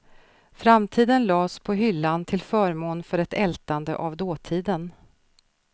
Framtiden lades på hyllan till förmån för ett ältande av dåtiden.